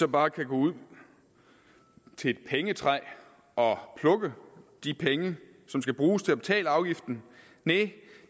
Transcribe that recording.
bare kan gå ud til et pengetræ og plukke de penge som skal bruges til at betale afgiften nej